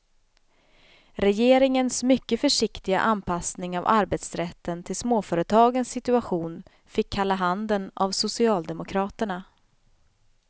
Regeringens mycket försiktiga anpassning av arbetsrätten till småföretagens situation fick kalla handen av socialdemokraterna.